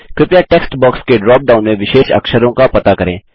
कृपया text box के drop down में विशेष अक्षरों का पता करें